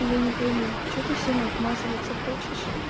я не пойму что ты всем обмазываться хочешь